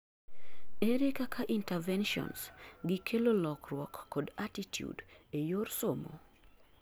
ere kaka interventions gi kelo lokruok kod attitude eyor somo?